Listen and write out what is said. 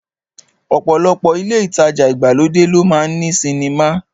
Ọ̀pọ̀lọpọ̀ ilé ìtajà ìgbàlódé ló máa ń ní sinimá